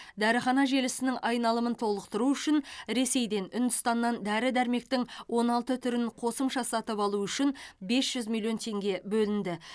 дәріхана желісінің айналымын толықтыру үшін ресейден үндістаннан дәрі дәрмектің он алты түрін қосымша сатып алу үшін бес жүз миллион теңге бөлінді